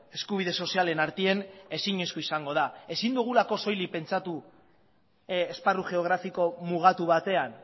eskubide sozialen artean ezinezkoa izango da ezin dugulako soilik pentsatu esparru geografiko mugatu batean